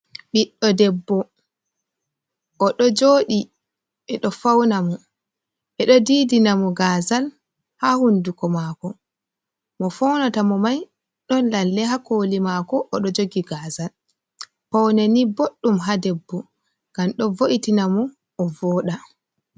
Ɓidɗo debbo oɗo jooɗi, ɓeɗo Faunamo ɓeɗo didanamo gazal ha hunduko mako. Mo faunata mo mai ɗon lalle ha koli mako oɗo joogi gaazal. Pauneni bodɗum ha debbo, ngam ɗo vo’itina mo ovoɗa.